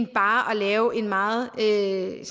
bare at lave en meget rigid